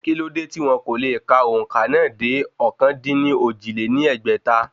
Kí ló dé tí wọn kò le ka òǹkà náà dé ọ̀kan-dín-ní-ojì lé ní ẹgbẹ́ta?